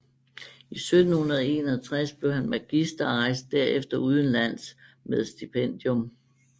I 1761 blev han magister og rejste derefter udenlands med stipendium